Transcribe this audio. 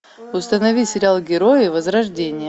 установи сериал герои возрождение